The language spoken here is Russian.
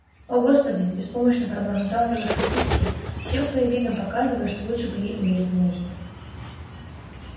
о господи беспомощно пробормотала тётушка питти всем своим видом показывая что лучше бы ей умереть на месте